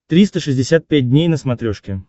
триста шестьдесят пять дней на смотрешке